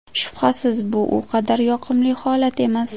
Shubhasiz bu u qadar yoqimli holat emas.